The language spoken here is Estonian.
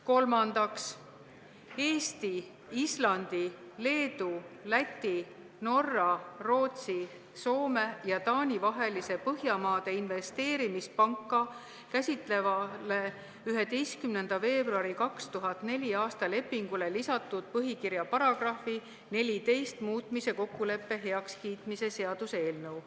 Kolmandaks, Eesti, Islandi, Leedu, Läti, Norra, Rootsi, Soome ja Taani vahelisele Põhjamaade Investeerimispanka käsitlevale 11. veebruari 2004. aasta lepingule lisatud põhikirja paragrahvi 14 muutmise kokkuleppe heakskiitmise seaduse eelnõu.